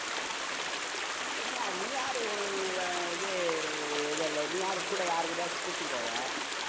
இல்ல, நீ யாரு உ~இது எதுவுமில்ல நீ யாரு கூட, யார் கூடயாச்சும் கூட்டிட்டு போவ.